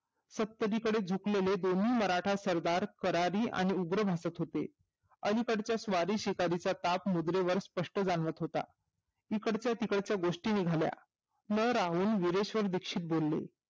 सपदी कडे झोपलेले दोन्ही मराठा सरदार स्वरादी व उग्र भासत होते अलीकडच्या स्वारी शेजारीच ताप मुद्रेवर स्पष्ट जाणवत होता इकडच्या तिकडच्या गोष्टी निघाल्या मग रावून मुरुडेश्वर दीक्षित बोलले